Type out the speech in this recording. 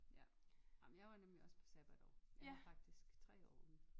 Ja ej men jeg nemlig også på sabbatår jeg havde faktisk 3 år